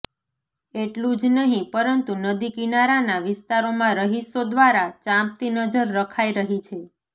એટલુ જ નહી પરંતુ નદી કિનારાના વિસ્તારોમાં રહીશો દ્વારા ચાંપતી નજર રખાઈ રહી છે